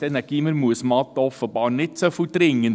Ist denn das Gymnasium Muesmatt offenbar nicht so dringend?